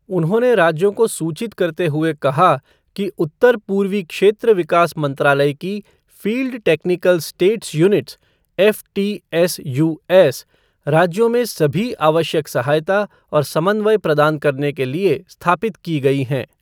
उन्होंने राज्यों को सूचित करते हुए कहा कि उत्तर पूर्वी क्षेत्र विकास मंत्रालय की field technical states units FTSUs, राज्यों में सभी आवश्यक सहायता और समन्वय प्रदान करने के लिए स्थापित की गई हैं।